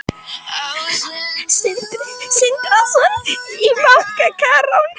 Sindri Sindrason: Bankarán?